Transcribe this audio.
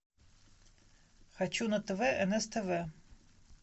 хочу на тв нств